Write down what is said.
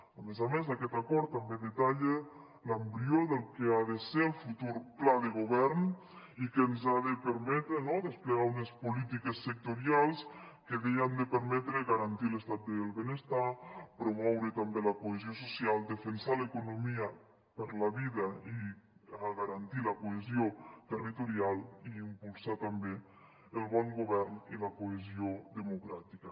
a més a més aquest acord també detalla l’embrió del que ha de ser el futur pla de govern i que ens ha de permetre no desplegar unes polítiques sectorials que bé han de permetre garantir l’estat del benestar promoure també la cohesió social defensar l’economia per la vida i garantir la cohesió territorial i impulsar també el bon govern i la cohesió democràtica